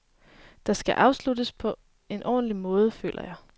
Det skal afsluttes på en ordentlig måde, føler jeg.